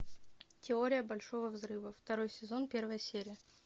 теория большого взрыва второй сезон первая серия